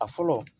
A fɔlɔ